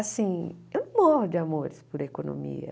Assim, eu não morro de amores por economia.